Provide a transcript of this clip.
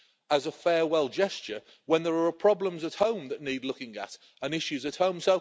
as a farewell gesture, when there are problems at home that need looking at and issues at home.